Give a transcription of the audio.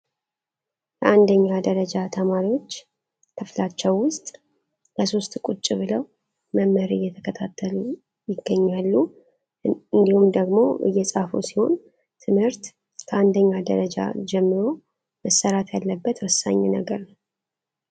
የ1ኛ ደረጃ ተማሪዎች ክፍላቸው ውስጥ ለሦስት ቁጭ ብለው መምህር እየተከታተሉ ይገኛሉ እንዲሁም ደግሞ እየጻፉ ሲሆን። ትምህርት ከአንደኛ ደረጃ ጀምሮ መሰራት ያለበት ወሳኝ ነገር ነው።